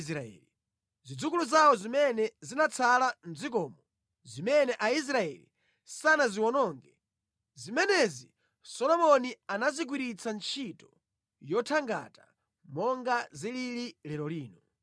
Zimenezi ndiye zinali zidzukulu zawo zotsalira mʼdzikoli, anthu amene Aisraeli sanathe kuwawononga kotheratu. Solomoni anawatenga ndi kukhala akapolo ake ogwira ntchito yathangata, monga zilili mpaka lero lino.